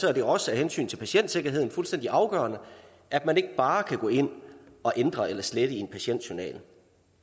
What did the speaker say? er det også af hensyn til patientsikkerheden fuldstændig afgørende at man ikke bare kan gå ind at ændre eller slette i en patientjournal